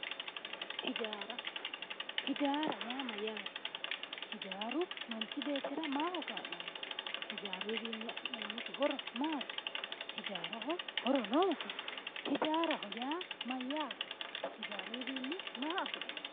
Hijaara. Hijaara yaa mayyaate? Hijaaru manchi beettira maaho kaa'lanno? Hijaaruwiinni afi'neemmo horo maati? Hijaaraho horo noosi? Hijaaraho yaa mayyaate? Hijaaruyiwiinni maa afi'neemmo?